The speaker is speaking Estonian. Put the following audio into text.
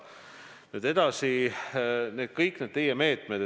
Nüüd edasi, kõik need teie meetmed.